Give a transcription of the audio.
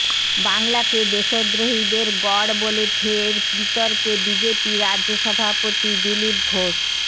বাংলাকে দেশদ্রোহীদের গড় বলে ফের বিতর্কে বিজেপি রাজ্য সভাপতি দিলীপ ঘোষ